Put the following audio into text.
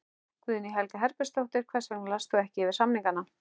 Guðný Helga Herbertsdóttir: Hvers vegna last þú ekki yfir samningana?